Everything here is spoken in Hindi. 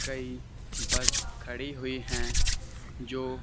कई बस खड़ी हुई हैं जो--